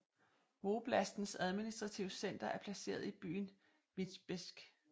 Voblastens administrative center er placeret i byen Vitebsk